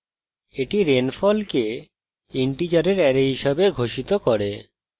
এটি rainfall কে integers array হিসাবে ঘোষিত করে